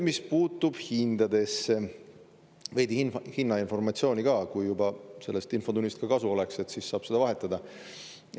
Mis puutub hindadesse, siis veidi hinnainformatsiooni ka, et sellest infotunnist ka kasu oleks ja saaks seda vahetada.